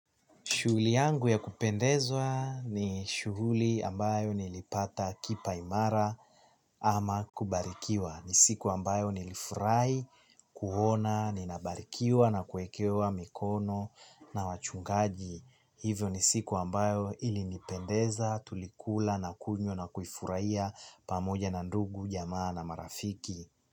Shughuli yangu ya kupendezwa ni shughuli ambayo nilipata kipaimara ama kubarikiwa. Ni siku ambayo nilifurahi, kuona, ninabarikiwa na kuekewa mikono na wachungaji. Hivyo ni siku ambayo ilinipendeza, tulikula na kunywa na kuifurahia pamoja na ndugu, jamaa na marafiki.